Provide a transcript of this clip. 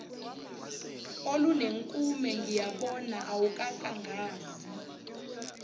olunenkume ngiyabona awukakangazi